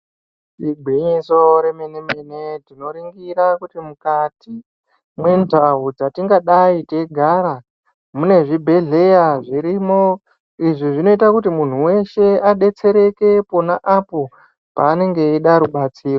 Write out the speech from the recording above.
Igwinyiso remene mene tinoringira kuti mukati mwendau dzatingadai teigara mune zvibhedhleya zvirimo. Izvi zvinoita kuti muntu weshe adetsereke pona apo panenge eida rubatsiro.